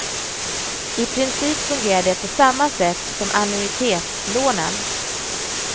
I princip fungerar det på samma sätt som annuitetslånen.